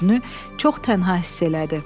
Özünü çox tənha hiss elədi.